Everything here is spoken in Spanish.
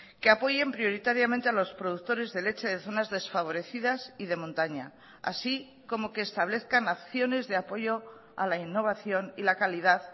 que apoyen prioritariamente a los productores de leche de zonas desfavorecidas y de montaña así como que establezcan acciones de apoyo a la innovación y la calidad